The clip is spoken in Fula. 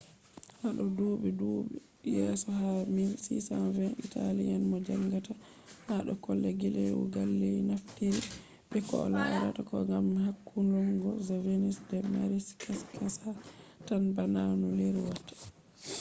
hado dubi dubu yeso ha 1620 italian mo jangata hado kode galileo galeli naftiri be koh larata kode gam hakkulungo je venus do mari kashi kasha tan bana no leru watta